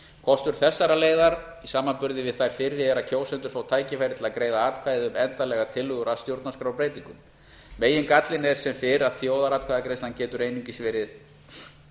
kostur þessarar leiðar í samanburði við þær fyrri er að kjósendur fá tækifæri til að greiða atkvæði um endanlegar tillögur að stjórnarskrárbreytingum megingallinn er sem fyrr að þjóðaratkvæðagreiðslan getur einungis verið